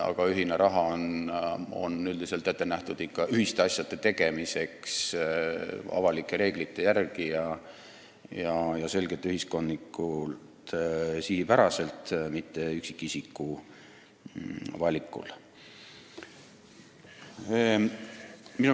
Aga ühine raha on üldiselt ette nähtud ühiskondlike asjade tegemiseks sihipäraselt ja avalike reeglite järgi, mitte üksikisiku valikul.